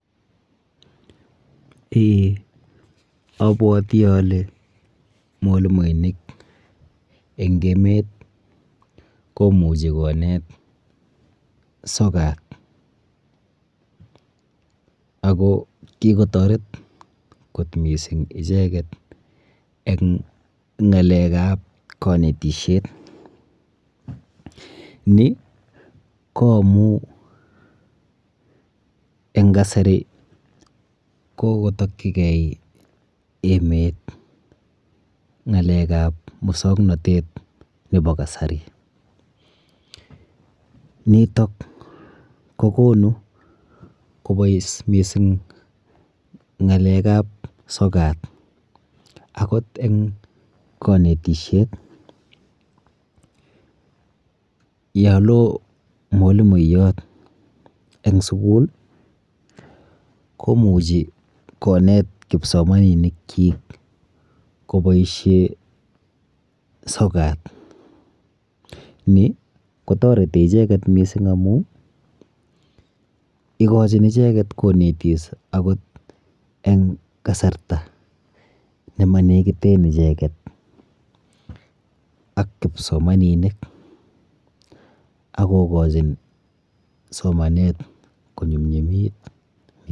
Eee abwoti ale mwalimuinik eng emet komuchi konet sokat ako kikotoret kot missing icheket eng ng'alek ap kanetishet ni ko amu eng kasari kokotokchikei emet ng'alek ap musongnotet nebo kasari nitok kokonu kobois missing ng'alek ap sokat akot eng kanetishet yo lo mwalimuyot eng sukul komuchi konet kipsomaninik chi koboishe sokat ni kotoreti icheget missing amu ikochin icheket konetis akot eng kasarta nemalekiten icheket ak kipsomaninik akokochin somanet konyumnyumit.